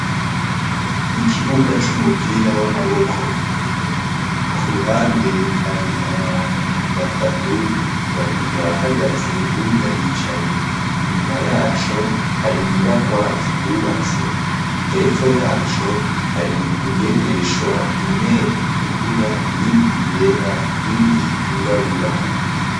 ikibuga c'umupira w'amaboko kuruhande hari abantu batatu babiri barahagaze unda ricaye inyuma yaco hari nyubakwa zihubatse hepfo yaco hari ingendeshwa imwe itukura iyindi yera iyindi yirabura